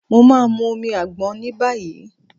Mo ma mu omi àgbọn níbàyí.